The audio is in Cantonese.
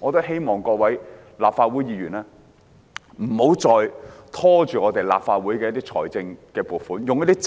我希望各位立法會議員不要再因任何政治理由拖延處理政府提交本會的撥款